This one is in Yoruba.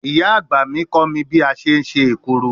Iya agba mi ko mi bi a se se ekuru